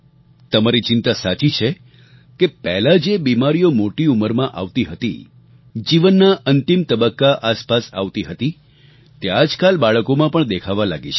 તમારી ચિંતા સાચી છે કે પહેલાં જે બીમારીઓ મોટી ઉંમરમાં આવતી હતી જીવનના અંતિમ તબક્કા આસપાસ આવતી હતી તે આજકાલ બાળકોમાં પણ દેખાવા લાગી છે